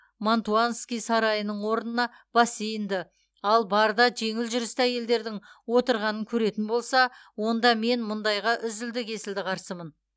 мантуанский сарайының орнына бассейнді ал барда жеңіл жүрісті әйелдердің отырғанын көретін болса онда мен мұндайға үзілді кесілді қарсымын